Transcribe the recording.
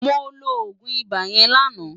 Mó ló ógún ibá yèn láná